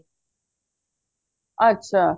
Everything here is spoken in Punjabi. ਅੱਛਾ